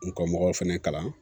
N ka mɔgɔw fana kalan